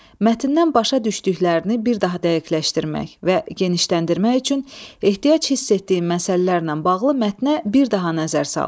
Mətndən başa düşdüklərini bir daha dəqiqləşdirmək və genişləndirmək üçün ehtiyac hiss etdiyin məsələlərlə bağlı mətnə bir daha nəzər sal.